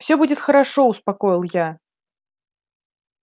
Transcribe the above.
всё будет хорошо успокоил я